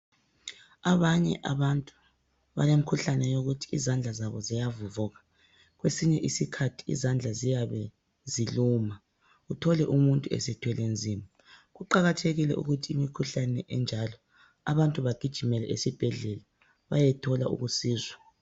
Abanye abantu balemikhuhlane yokuthi izandla zabo ziyavuvuka. Kwesinye isikhathi izandla ziyabe ziluma uthole umuntu esethwele nzima Kuqakathekile ukuthi imikhuhlane enjalo abantu bagijimele esibhedlela bayethola ukusizwa.